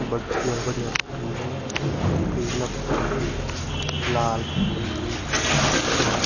बढ़िया बढ़िया फूल पीला फूल भी लाल फूल भी और --